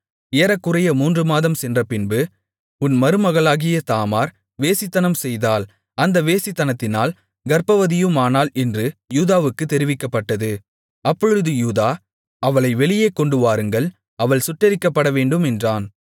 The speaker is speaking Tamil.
ஏறக்குறைய மூன்றுமாதம் சென்றபின்பு உன் மருமகளாகிய தாமார் வேசித்தனம்செய்தாள் அந்த வேசித்தனத்தினால் கர்ப்பவதியுமானாள் என்று யூதாவுக்கு தெரிவிக்கப்பட்டது அப்பொழுது யூதா அவளை வெளியே கொண்டுவாருங்கள் அவள் சுட்டெரிக்கப்படவேண்டும் என்றான்